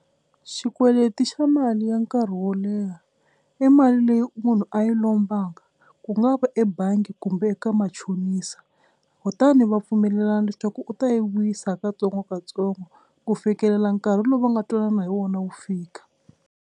Xikweleti xa mali ya nkarhi wo leha i mali leyi munhu a yi lombanga ku nga va ebangi kumbe eka machonisa kutani va pfumelelana leswaku u ta yi vuyisa ha katsongokatsongo ku fikelela nkarhi lowu va nga twanana hi wona wu fika.